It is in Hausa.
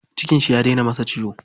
Cikin shi ya dena masa ciwo.